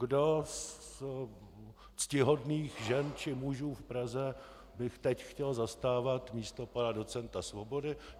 Kdo ze ctihodných žen či mužů v Praze by teď chtěl zastávat místo pana docenta Svobody?